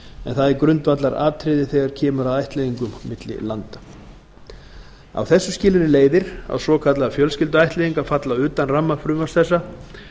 en það er grundvallaratriði þegar kemur að ættleiðingum milli landa af þessu skilyrði leiðir að svokallaðar fjölskylduættleiðingar falla utan ramma frumvarps þessa